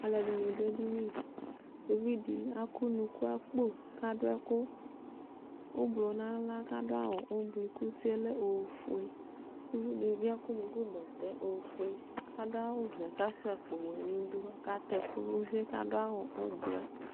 aloɛdini do edini uvi di akɔ unuku akpo k'ado ɛkò ublɔ n'ala k'ado awu ublɔ kò utie lɛ ofue k'uvi di bi akɔ unuku bɛtɛ ofue k'ado vɛ k'asua akpo wɛ n'idu k'ɔka tɛ ɛkò n'uvie k'ado awu ublɔɛ